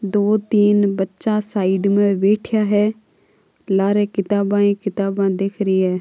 दो तीन बच्चा है साइड में बैठा है लारे किताब-किताब दिख रही है।